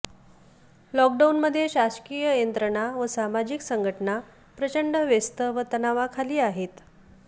लॉकडाऊनमध्ये शासकीय यंत्रणा व सामाजिक संघटना प्रचंड व्यस्त व तणावाखाली आहेत